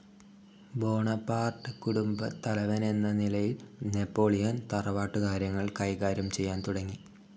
Bonaparte കുടുംബത്തലവനെന്ന നിലയിൽ Napoleon തറവാട്ടു കാര്യങ്ങൾ കൈകാര്യം ചെയ്യാൻ തുടങ്ങി.